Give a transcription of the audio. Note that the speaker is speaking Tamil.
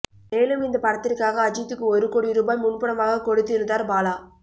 மேலும் இந்த படத்திற்காக அஜித்க்கு ஒரு கோடி ரூபாய் முன்பணமாக கொடுத்திருந்தார் பாலா